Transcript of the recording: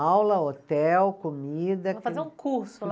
Aula, hotel, comida que. Para fazer um curso lá.